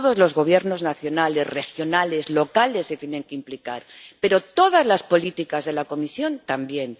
Todos los gobiernos nacionales, regionales, locales se tienen que implicar, pero todas las políticas de la Comisión también.